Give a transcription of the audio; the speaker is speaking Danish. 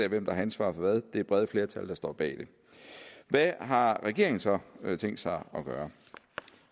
hvem der har ansvaret for hvad det er brede flertal der står bag det hvad har regeringen så tænkt sig at gøre